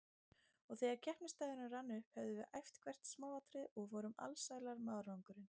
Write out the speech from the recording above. Og þegar keppnisdagurinn rann upp höfðum við æft hvert smáatriði og vorum alsælar með árangurinn.